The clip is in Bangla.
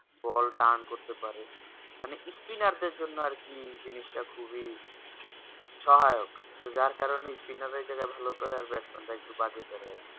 boll টান করতে পারে মানে spinner এর জন্য আর কি জিনিস টা সহায়ক যার কারণ spinner এই জায়গায় ভালো করে আর batsman একটু বাজে করে